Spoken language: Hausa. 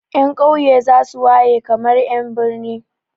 Ƴan ƙauye za su waye kamar ƴan birni.